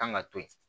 Kan ka to yen